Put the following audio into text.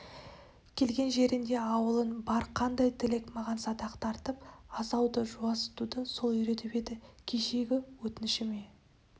келген жеріңде ауылың бар қандай тілек маған садақ тартып асауды жуасытуды сол үйретіп еді кешегі өтінішіме